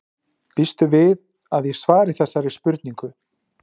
Býstu við því að ég svari þessari spurningu?